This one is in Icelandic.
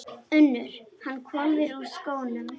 UNNUR: Hann hvolfir úr skónum.